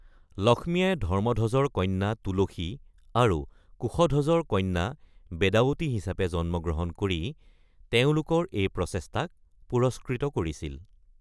লক্ষ্মীয়ে ধৰ্মধ্বজৰ কন্যা তুলসী আৰু কুশধ্বজৰ কন্যা বেদাৱতী হিচাপে জন্ম গ্ৰহণ কৰি তেওঁলোকৰ এই প্ৰচেষ্টাক পুৰস্কৃত কৰিছিল।